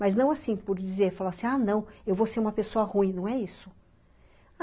Mas não assim, por dizer, falar assim, ah, não, eu vou ser uma pessoa ruim, não é isso.